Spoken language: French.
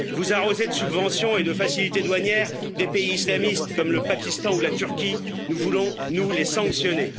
Vous arrosez de subventions et de facilités douanières des pays islamistes comme le Pakistan ou la Turquie, nous voulons, nous, les sanctionner.